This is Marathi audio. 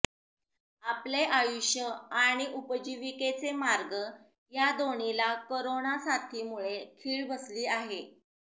आपले आयुष्य आणि उपजीविकेचे मार्ग या दोन्हीला करोना साथीमुळे खीळ बसली आहे